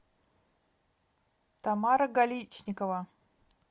тамара галичникова